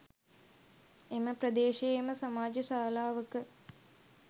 එම ප්‍රදේශයේම සමාජ ශාලාවක